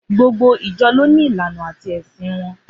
Gbogbo ìjọ lọni ìláná àtí ẹsín won